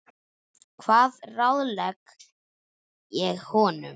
Hvað ráðlegg ég honum?